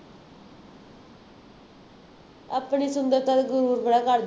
ਆਪਣੀ ਸੁੰਦਰਤਾ ਤੇ ਗਰੂਰ ਬੜਾ ਕਰਦੀ